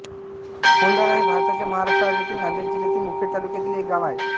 होंदाळा हे भारताच्या महाराष्ट्र राज्यातील नांदेड जिल्ह्यातील मुखेड तालुक्यातील एक गाव आहे